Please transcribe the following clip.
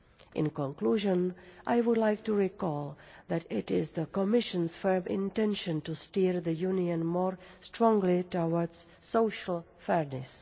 In conclusion, I would like to recall that it is the Commission's firm intention to steer the Union more strongly towards social fairness.